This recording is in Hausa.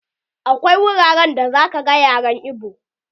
Akwai wuraren da za ka gan yaren ibo.